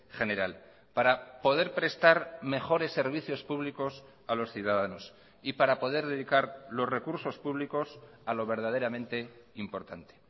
general para poder prestar mejores servicios públicos a los ciudadanos y para poder dedicar los recursos públicos a lo verdaderamente importante